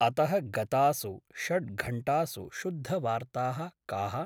अतः गतासु षड्घण्टासु शुद्धवार्ताः काः?